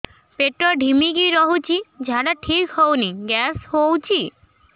ପେଟ ଢିମିକି ରହୁଛି ଝାଡା ଠିକ୍ ହଉନି ଗ୍ୟାସ ହଉଚି